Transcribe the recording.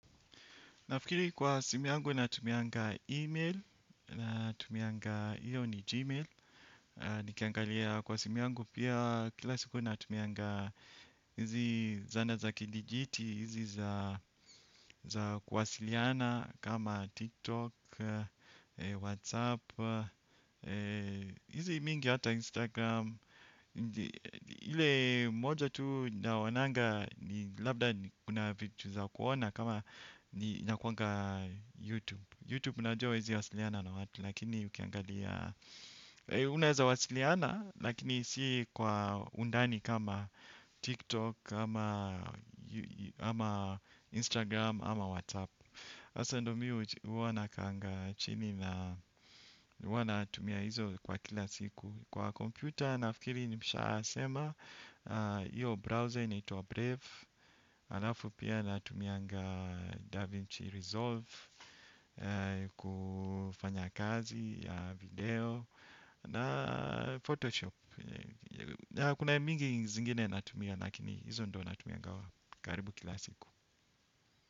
Nafikiri kwa simu yangu natumianga email natumianga hiyo ni gmail. Nikiangalia kwa simu yangu pia kila siku na tumianga hizi zana za kidijiti. Hizi za kuwasiliana kama tiktok, whatsapp, hizi mingi hata instagram. Ile moja tu naonanga ni labda kuna vitu za kuona kama ni nakuanga YouTube YouTube najua huwezi wasiliana na watu lakini ukiangalia unaweza wasiliana lakini si kwa undani kama TikTok ama Instagram ama WhatsApp sasa ndo mimi huwa nakaanga chini na huwa natumia hizo kwa kila siku. Kwa kompyuta nafikiri nimeshayasema hiyo browser inaitwa Brave Alafu pia natumianga Da Vinci Resolve. Kufanya kazi, video na Photoshop. Kuna mingi zingine natumia lakini hizo ndio natumianga. Karibu kila siku.